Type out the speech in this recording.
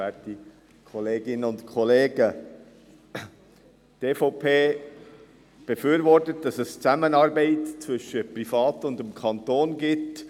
Die EVP befürwortet, dass eine Zusammenarbeit zwischen Privaten und dem Kanton besteht.